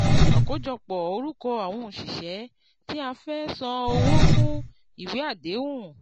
àkójọpọ̀ orúkọ àwọn òṣìṣẹ́ tí a fẹ́ san owó fún ìwé àdéhùn.